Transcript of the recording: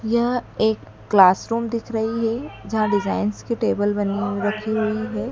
यह एक क्लासरूम दिख रही है जहां डिजाइंस की टेबल बनी रखी हुई है।